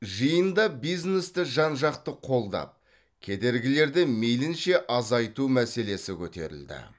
жиында бизнесті жан жақты қолдап кедергілерді мейлінше азайту мәселесі көтерілді